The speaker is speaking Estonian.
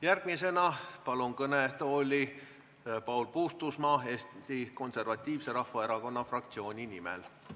Järgmisena kutsun kõnetooli Paul Puustusmaa Eesti Konservatiivse Rahvaerakonna fraktsiooni nimel.